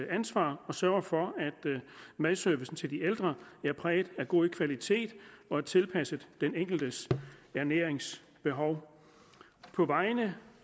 ansvar og sørger for at madservicen til de ældre er præget af god kvalitet og er tilpasset den enkeltes ernæringsbehov på vegne